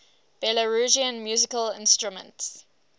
belarusian musical instruments